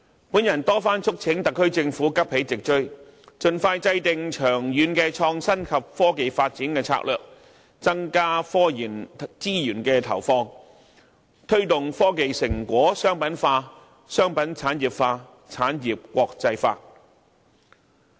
我曾多番促請特區政府急起直追，盡快制訂長遠的創新及科技發展策略，增加科研資源的投放，推動科技成果商品化，商品產業化，產業國際化。